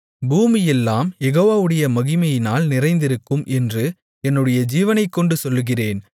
பூமியெல்லாம் யெகோவாவுடைய மகிமையினால் நிறைந்திருக்கும் என்று என்னுடைய ஜீவனைக்கொண்டு சொல்லுகிறேன்